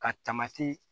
Ka tamati